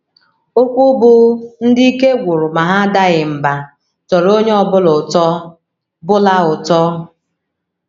Okwu bụ́ “ Ndị Ike Gwụrụ Ma Ha Adaghị Mbà ” tọrọ onye ọ bụla ụtọ. bụla ụtọ.